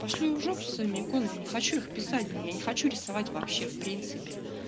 пошли вы в жопу со своими иконами не хочу их писать блин я не хочу рисовать вообще в принципе